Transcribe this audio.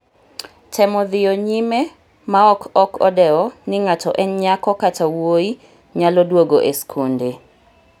temo dhiyo nyime maok ok odewo ni ng'ato en nyako kata wuoyi nyalo duogo e skunde